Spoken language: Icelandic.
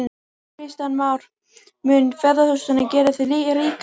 Kristján Már: Mun ferðaþjónustan gera þig ríkan?